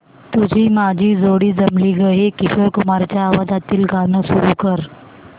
तुझी माझी जोडी जमली गं हे किशोर कुमारांच्या आवाजातील गाणं सुरू कर